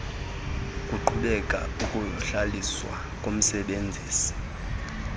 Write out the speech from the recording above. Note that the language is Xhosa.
kuqhubeke ukuhlaliswa komsebenzisi